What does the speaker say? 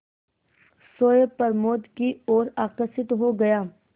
सोए प्रमोद की ओर आकर्षित हो गया